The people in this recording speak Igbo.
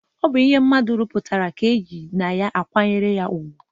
O bu ihe mmadu ruputara ka e ji n' ihi ya akwanyere ya ugwu.